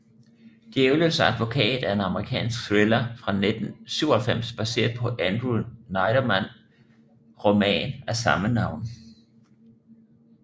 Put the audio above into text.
Djævelens advokat er en amerikansk thriller fra 1997 baseret på Andrew Neiderman roman af samme navn